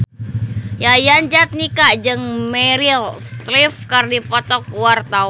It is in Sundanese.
Yayan Jatnika jeung Meryl Streep keur dipoto ku wartawan